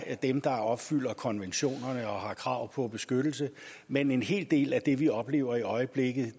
er dem der opfylder konventionerne og har krav på beskyttelse men en hel del af det vi oplever i øjeblikket